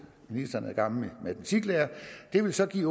at ministeren er gammel matematiklærer det vil så give